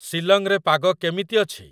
ସିଲଂରେ ପାଗ କେମିତି ଅଛି?